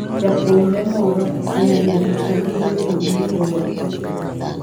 Japuojre moro oyanyo jochadi mane obiro e odgi.